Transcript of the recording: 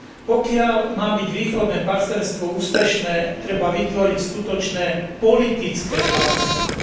Pokiaľ má byť východné partnerstvo úspešné, treba vytvoriť skutočné politické partnerstvo.